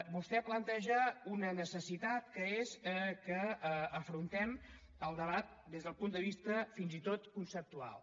vostè planteja una necessitat que és que afrontem el debat des del punt de vista fins i tot conceptual